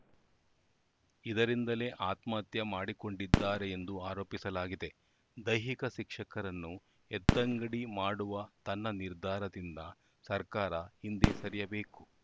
ಇದರಿಂದಲೇ ಆತ್ಮಹತ್ಯೆ ಮಾಡಿಕೊಂಡಿದ್ದಾರೆ ಎಂದು ಆರೋಪಿಸಲಾಗಿದೆ ದೈಹಿಕ ಶಿಕ್ಷಕರನ್ನು ಎತ್ತಂಗಡಿ ಮಾಡುವ ತನ್ನ ನಿರ್ಧಾರದಿಂದ ಸರ್ಕಾರ ಹಿಂದೆ ಸರಿಯಬೇಕು